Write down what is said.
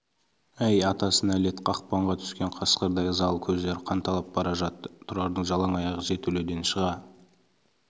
әй атасына нәлет қақпанға түскен қасқырдай ызалы көздері қанталап бара жатты тұрардың жалаң аяқ жертөледен шыға